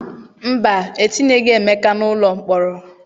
Mba, etinyeghị Emeka n'ụlọ mkpọrọ.